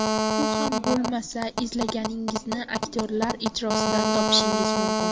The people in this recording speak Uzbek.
U ham bo‘lmasa, izlaganingizni aktyorlar ijrosidan topishingiz mumkin.